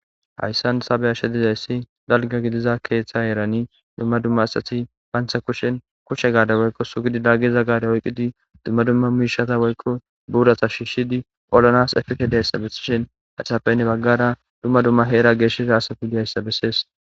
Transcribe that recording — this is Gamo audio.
Hayssan tha be7ashe dizayssi dalga gidiza keeththe erani dumma dumma asxati bantha kushen kushshe gaade woykko sugidi daggiza gaade oyqqidi dumma dumma miishata woykko buurata shiishshidi olanas efeke de hayssa bessishen haysafeynne baggara dumma dumma heera geeshesha haatha fue hayssa bessees.